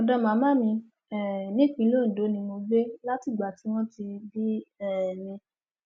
ọdọ màmá mi um nípínlẹ ondo ni mò ń gbé látìgbà tí wọn ti bí um mi